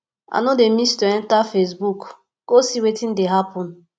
i no dey miss to enta facebook go see wetin dey happen